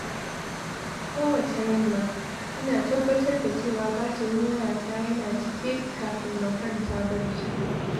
Kowacce yamma, ina tabbatar da cewa batirin wayata yana cike kafin na kwanta barci.